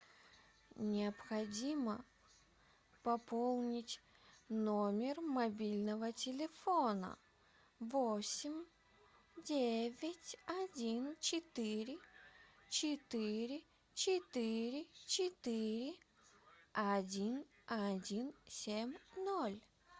необходимо пополнить номер мобильного телефона восемь девять один четыре четыре четыре четыре один один семь ноль